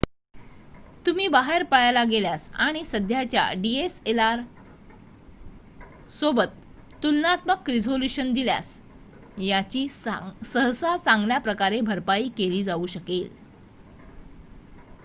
तुम्ही बाहेर पळायला गेल्यास आणि सध्याच्या dslr/डीएसएलआर सोबत तुलनात्मक रिझोल्यूशन दिल्यास याची सहसा चांगल्याप्रकारे भरपाई केली जाऊ शकेल